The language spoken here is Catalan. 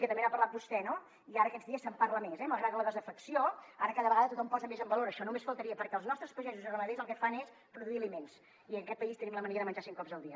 que també n’ha parlat vostè no i ara aquests dies se’n parla més eh malgrat la desafecció ara cada vegada tothom posa més en valor això només faltaria perquè els nostres pagesos i ramaders el que fan és produir aliments i en aquest país tenim la mania de menjar cinc cops al dia